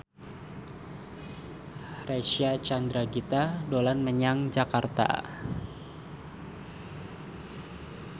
Reysa Chandragitta dolan menyang Jakarta